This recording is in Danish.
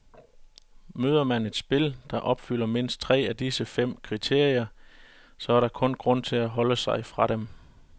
Møder man et spil, der opfylder mindst tre af disse fem kriterier, så er der kun grund til at holde sig fra dem.